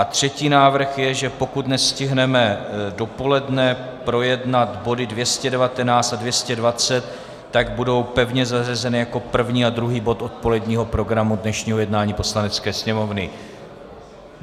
A třetí návrh je, že pokud nestihneme dopoledne projednat body 219 a 220, tak budou pevně zařazeny jako první a druhý bod odpoledního programu dnešního jednání Poslanecké sněmovny.